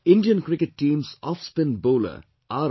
Indian Cricket team's offspin bowler R